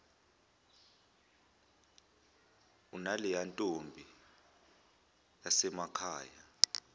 unaleya ntombi yasemakhaya